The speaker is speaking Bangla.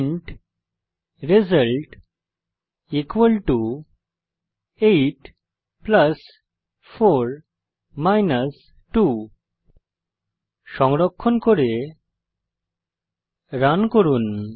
ইন্ট result 84 2 সংরক্ষণ করে রান করুন